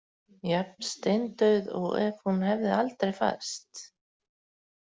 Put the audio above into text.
Jafn steindauð og ef hún hefði aldrei fæðst.